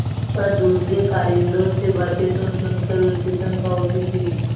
पर दूसरे कारिंदों से बातें सुनसुन कर उसे शंका होती थी